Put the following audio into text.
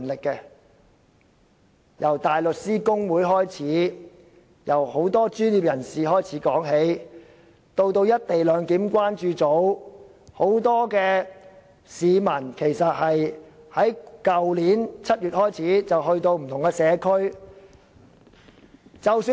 他們當中包括香港大律師公會、很多專業人士及"一地兩檢"關注組，有很多市民更由去年7月開始，前往不同社區進行相關工作。